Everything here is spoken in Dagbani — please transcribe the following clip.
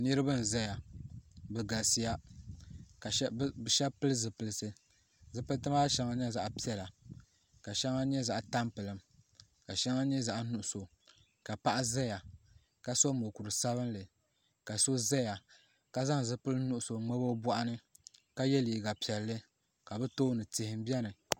Niriba n zaya bɛ galisiya ka sheba pili zipilisi zipiliti maa nyɛla zaɣa piɛla ka sheŋa nyɛ zaɣa tampilim ka sheŋa nyɛ zaɣa nuɣuso ka paɣa zaya ka so mokuru sabinli ka so zaya ka zaŋ zipil'nuɣuso n ŋmabi o boɣu ni ka ye liiga piɛlli ka bɛ tooni tihi m biɛni n